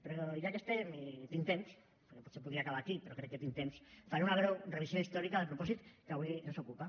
però ja que hi estem i tinc temps perquè potser podria acabar aquí però crec que tinc temps faré una breu revisió històrica del propòsit que avui ens ocupa